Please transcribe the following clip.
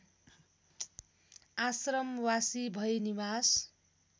आश्रमवासी भई निवास